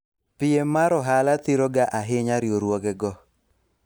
piem mar ohala thiro ga ahinya riwruoge go